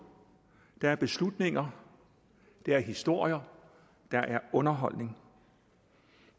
der er beslutninger der er historier der er underholdning